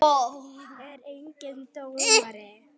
Er enginn dómari?